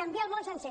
canviar el món sencer